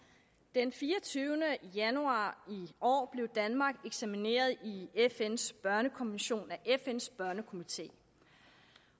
den fireogtyvende januar i år blev danmark eksamineret i fns børnekommission af fns børnekomité